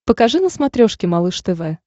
покажи на смотрешке малыш тв